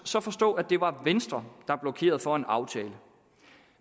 så forstå at det var venstre der blokerede for en aftale